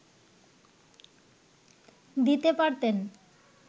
দিতে পারতেন